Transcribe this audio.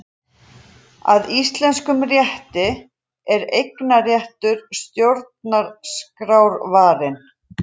Að íslenskum rétti er eignarréttur stjórnarskrárvarinn